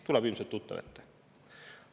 Tuleb ilmselt tuttav ette.